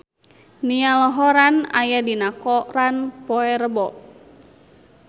Niall Horran aya dina koran poe Rebo